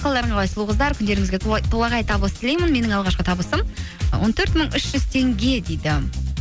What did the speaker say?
қалдарың қалай сұлу қыздар күндеріңізге толағай табыс тілеймін менің алғашқы табысым он төрт мың үш жүз теңге дейді